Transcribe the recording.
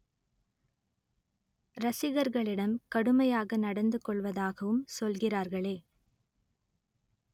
ரசிகர்களிடம் கடுமையாக நடந்து கொள்வதாகவும் சொல்கிறார்களே